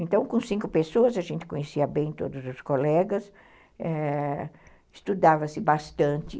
Então, com cinco pessoas, a gente conhecia bem todos os colegas, eh... estudava-se bastante.